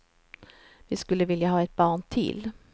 Vi skulle vilja ha ett barn till.